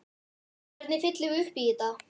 Hvernig fyllum við upp í þetta?